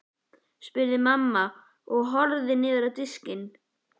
spurði mamma og horfði niður á diskinn.